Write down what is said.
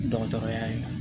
Dɔgɔtɔrɔya ye